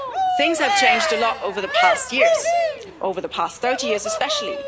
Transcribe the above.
Things have changed a lot over the past years, over the past 30 years especially.